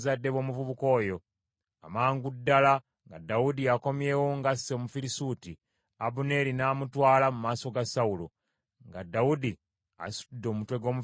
Amangu ddala nga Dawudi akomyewo ng’asse Omufirisuuti, Abuneeri n’amutwala mu maaso ga Sawulo, nga Dawudi asitudde omutwe gw’Omufirisuuti mu mukono gwe.